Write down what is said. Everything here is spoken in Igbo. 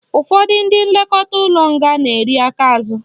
Ụfọdụ ndị nlekọta ụlọ nga na-eri aka azụ